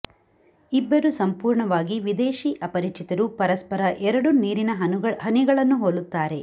ಇಬ್ಬರು ಸಂಪೂರ್ಣವಾಗಿ ವಿದೇಶಿ ಅಪರಿಚಿತರು ಪರಸ್ಪರ ಎರಡು ನೀರಿನ ಹನಿಗಳನ್ನು ಹೋಲುತ್ತಾರೆ